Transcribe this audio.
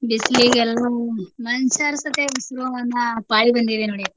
ಬಿಸ್ಲಿಗೆಲ್ಲಾ ಮನ್ಶ್ಯಾರ್ ಸತೆ ಉಸ್ರೋ ಅನ್ನೋ ಪಾಳಿ ಬಂದಿದೆ ನೋಡಿ ಅಕ್ಕ.